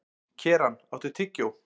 Keran, áttu tyggjó?